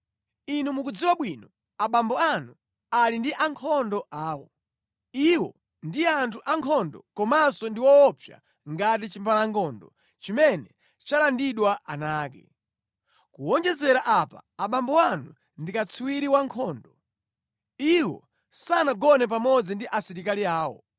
Inu mukudziwa bwino abambo anu ali ndi ankhondo awo. Iwo ndi anthu ankhondo komanso ndi woopsa ngati chimbalangondo chimene chalandidwa ana ake. Kuwonjezera apa abambo anu ndi katswiri wa nkhondo. Iwo sanagone pamodzi ndi asilikali awo.